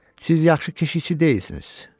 Siz yaxşı keşişçi deyilsiniz.